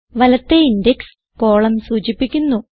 വലത്തേ index column സൂചിപ്പിക്കുന്നു